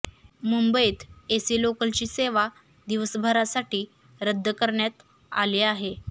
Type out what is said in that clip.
मुंबईत एसी लोकलची सेवा दिवसभरासाठी रद्द करण्यात आली आहे